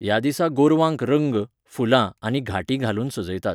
ह्या दिसा गोरवांक रंग, फुलां आनी घांटी घालून सजयतात.